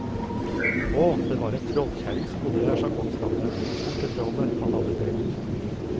Å, det var en trollkjerring som bodde der, sa kongsdatteren, mor til trollet han hadde drept.